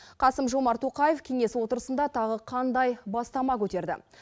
қасым жомарт тоқаев кеңес отырысында тағы қандай бастама көтерді